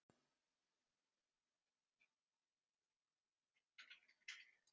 Þetta var ánægjustund.